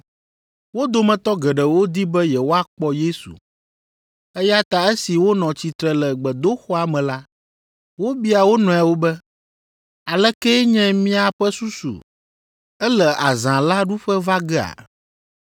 Wo dometɔ geɖewo di be yewoakpɔ Yesu, eya ta esi wonɔ tsitre le gbedoxɔa me la, wobia wo nɔewo be, “Alekee nye miaƒe susu? Ele azã la ɖuƒe va gea?”